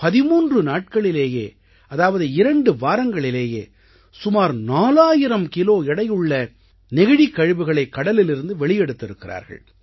13 நாட்களிலேயே அதாவது இரண்டு வாரங்களிலேயே சுமார் 4000 கிலோ எடையுள்ள நெகிழிக் கழிவுகளைக் கடலிலிருந்து வெளியெடுத்திருக்கிறார்கள்